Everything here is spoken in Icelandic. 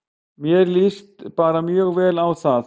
Mér líst bara mjög vel á það.